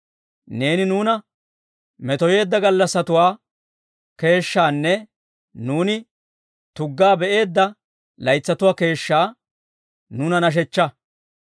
Neeni nuuna metoyeedda gallassatuwaa keeshshaanne nuuni tuggaa be'eedda laytsatuwaa keeshshaa, nuuna nashshechchaa.